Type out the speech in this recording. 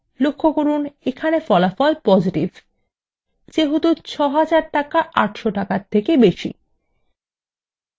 লক্ষ্য করুন এখানে ফলাফল positive যেহেতু ৬০০০ টাকা ৮০০ টাকার থেকে বেশী